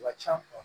Ka ca